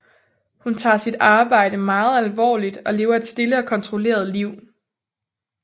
Hun tager sit arbejde meget alvorligt og lever et stille og kontrolleret liv